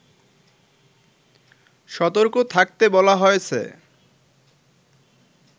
সতর্ক থাকতে বলা হয়েছে